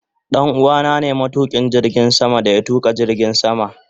Danuwa na ne matukin jirgin sama da ya tuka jirgin sama.